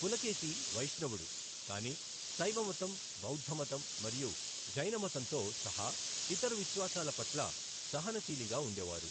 పులకేశి వైష్ణవుడు, కానీ శైవమతం, బౌద్ధమతం మరియు జైనమతంతో సహా ఇతర విశ్వాసాల పట్ల సహనశీలిగా ఉండేవారు.